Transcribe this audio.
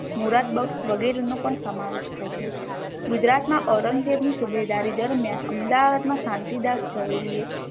મુરદ્દબક્ષ વગેરે નો પણ સમાવેશ થઇ છે ગુજરાત મા ઔરંગઝેબ ની સુબેદારી દરમ્યાન અમદાવાદ મા શાંતિદાસ ઝવેરી એ